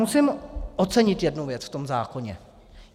Musím ocenit jednu věc v tom zákoně.